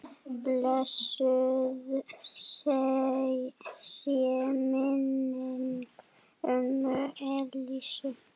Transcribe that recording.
Blessuð sé minning ömmu Elísu.